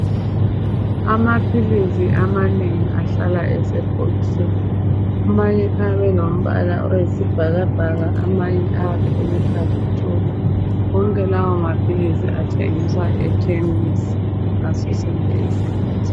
Amaphilisi amanengi ahlala esebhokisini. Amanye ayabe elombala oyisibhakabhaka. Amanye ayabe eluhlaza tshoko! Wonke lawomaphilisi athengiswa ekhemisi ngaso sonke isikhathi.